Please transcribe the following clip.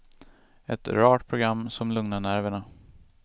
Ett rart program som lugnar nerverna.